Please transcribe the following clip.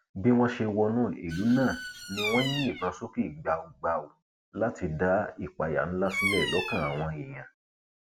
bí wọn ṣe wọnú ìlú náà ni wọn ń yìnbọn sókè gbàùgbàù láti dá ìpáyà ńlá sílẹ lọkàn àwọn èèyàn